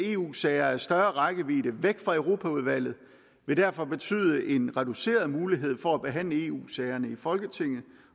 eu sager af større rækkevidde væk fra europaudvalget vil derfor betyde en reduceret mulighed for at behandle eu sagerne i folketinget